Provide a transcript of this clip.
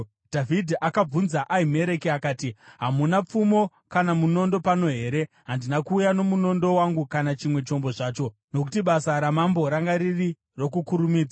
Dhavhidhi akabvunza Ahimereki akati, “Hamuna pfumo kana munondo pano here? Handina kuuya nomunondo wangu kana chimwe chombo zvacho, nokuti basa ramambo ranga riri rokukurumidza.”